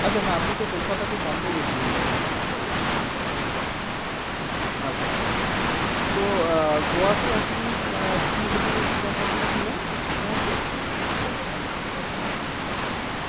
আচ্ছা না আপনিতো কলকাতা to বোম্বে গিয়েছিলেন। হ্যাঁ কলকাতা to বোম্বে, বোম্বে to গোয়া। আচ্ছা আচ্ছা তো আহ গোয়াতেই আপনি আহ কি হোটেলে? কোন হোটেলে ছিলেন? মনে আছে? আহ না হোটেলের নামটা তো আমার অতটা মনে নেই।